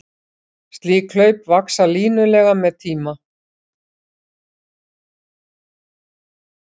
Slík hlaup vaxa línulega með tíma.